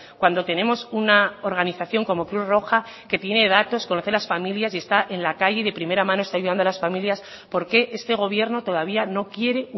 cuando tenemos una organización como cruz roja que tiene datos conoce a las familias y está en la calle y de primera mano está ayudando a las familias por qué este gobierno todavía no quiere